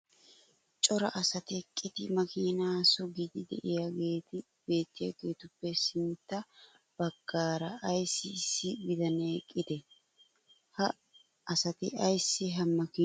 cora asati eqqidi makiinaa sugiidi diyaageeti beettiyaageetuppe sintta bagaara ayssi issi bitanee eqqidee? ha asati ayssi ha makiiniyo gede suggiyoonaa?